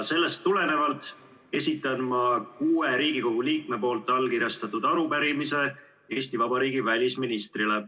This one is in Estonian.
Sellest tulenevalt esitan ma kuue Riigikogu liikme allkirjastatud arupärimise Eesti Vabariigi välisministrile.